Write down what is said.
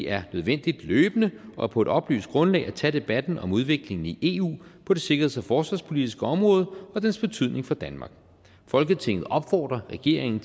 er nødvendigt løbende og på et oplyst grundlag at tage debatten om udviklingen i eu på det sikkerheds og forsvarspolitiske område og dens betydning for danmark folketinget opfordrer regeringen